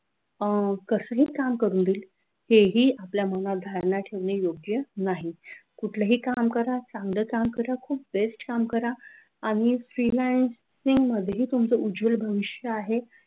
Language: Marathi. तसंही काम करून हे हेही आपल्या मनात धारणा ठेवणे योग्य नाही. कुठलाही काम करा. चांगलं काम करा. best काम करा आणि freelance freelancing मध्ये तुमचं उज्ज्वल भविष्य आहे.